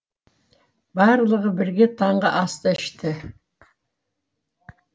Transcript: барлығы бірге таңғы асты ішті